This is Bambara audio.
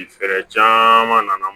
Fɛɛrɛ caman nana